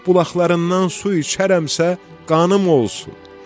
Bulaqlarından su içərəmsə, qanım olsun.